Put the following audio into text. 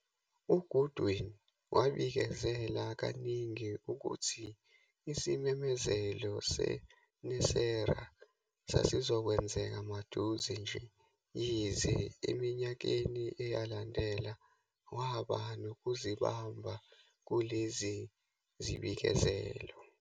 UGoodwin wabikezela kaninginingi ukuthi isimemezelo seNESARA sasizokwenzeka maduze nje, yize eminyakeni eyalandela waba nokuzibamba kulezi zibikezelo.